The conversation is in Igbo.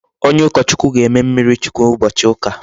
Onye ukochukwu ga-eme mmiri chukwu ubochi uka